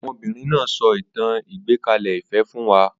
Ọmọbìnrin náà so ìtàn àgbékalẹ̀-ìfẹ́ fún wa